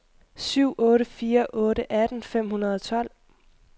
syv otte fire otte atten fem hundrede og tolv